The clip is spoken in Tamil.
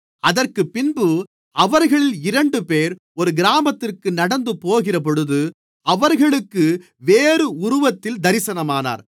அதற்குப்பின்பு அவர்களில் இரண்டுபேர் ஒரு கிராமத்திற்கு நடந்து போகிறபொழுது அவர்களுக்கு வேறு உருவத்தில் தரிசனமானார்